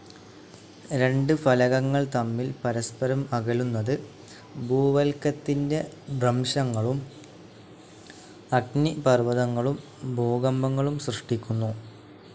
രണ്ട് ഫലകങ്ങൾ തമ്മിൽ പരസ്പരം അകലുന്നത്, ഭൂവൽക്കത്തിൻ്റെ ഭ്രംശങ്ങളും, അഗ്നിപർവ്വതങ്ങളും, ഭൂകമ്പങ്ങളും സൃഷ്ടിക്കുന്നു.